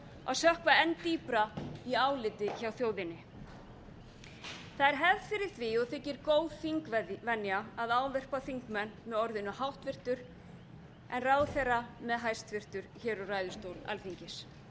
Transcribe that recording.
að sökkva enn dýpra í áliti hjá þjóðinni það er hefð fyrir því og þykir góð þingvenja að ávarpa þingmenn með orðinu háttvirtur en ráðherra með hæstvirtur hér úr ræðustól alþingis